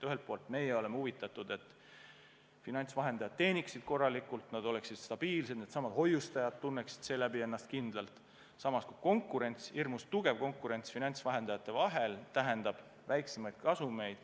Ühelt poolt me oleme huvitatud, et finantsvahendajad teeniksid korralikult, et nad oleksid stabiilsed ja hoiustajad tunneksid ennast tänu sellele kindlalt, samas aga hirmus tugev konkurents finantsvahendajate vahel tähendab väiksemaid kasumeid.